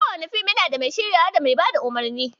Kowane fim yana da mai shiryawa, da mai bada umarni